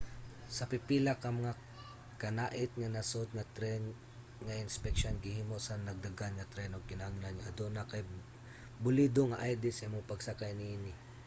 sa pipila ka mga kanait-nga nasod nga tren nga inspeksyon gihimo sa nagdagan nga tren ug kinahanglan nga aduna kay balido nga id sa imong pagsakay niini